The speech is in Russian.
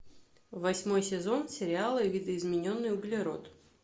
восьмой сезон сериала видоизмененный углерод